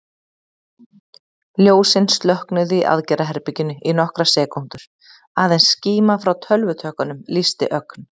Ljósin slokknuðu í aðgerðaherberginu í nokkrar sekúndur, aðeins skíma frá tölvutökkunum lýsti ögn.